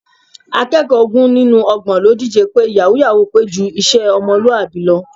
Akẹ́kọ̀ọ́ ogún nínú ọgbọ̀n ló díje pé yàwúú-yàwuù pé ju iṣẹ́ ọmọlúwàbí lọ